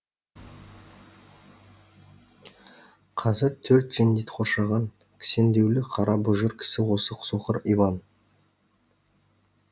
қазір төрт жендет қоршаған кісендеулі қара бұжыр кісі осы соқыр иван